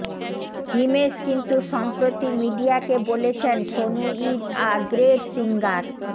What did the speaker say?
হিমেশ কিন্তু সম্প্রতি মিডিয়াকে বলেছেন Sonu is a great singer